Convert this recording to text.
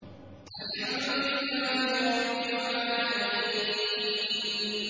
الْحَمْدُ لِلَّهِ رَبِّ الْعَالَمِينَ